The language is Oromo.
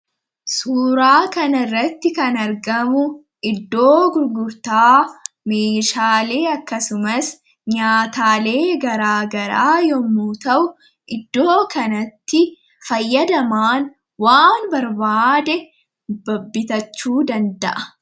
Suuraa kanarratti kan argamu iddoo gurgurtaa meeshaalee fi akkasumas, nyaataalee garaagaraa yemmuu ta'u, iddoo kanatti fayyadamaan waan barbaade bitachuu danda'a.